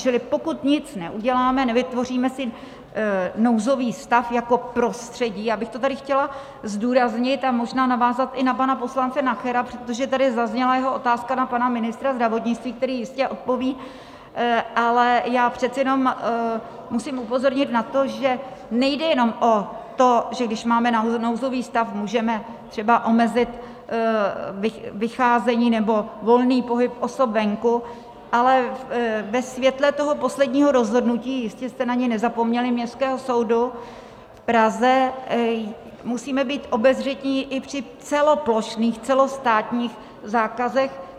Čili pokud nic neuděláme, nevytvoříme si nouzový stav jako prostředí - já bych to tady chtěla zdůraznit a možná navázat i na pana poslance Nachera, protože tady zazněla jeho otázka na pana ministra zdravotnictví, který jistě odpoví, ale já přece jenom musím upozornit na to, že nejde jenom o to, že když máme nouzový stav, můžeme třeba omezit vycházení nebo volný pohyb osob venku, ale ve světle toho posledního rozhodnutí, jistě jste na ně nezapomněli, Městského soudu v Praze musíme být obezřetní i při celoplošných, celostátních zákazech.